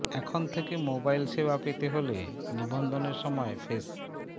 এখন থেকে মোবাইল সেবা পেতে হলে নিবন্ধনের সময় ফেস